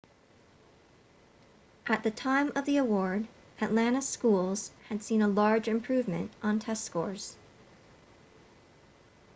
at the time of the award atlanta schools had seen a large improvement on test scores